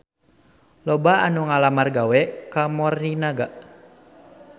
Loba anu ngalamar gawe ka Morinaga